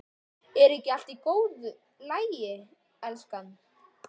Er ekki allt í góðu lagi, elskan?